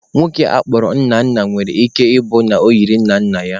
Nwoke a kpọrọ Nnanna nwere ike ọ bụrụ na o yiri nna nna ya.